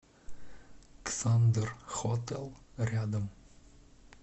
ксандер хотэл рядом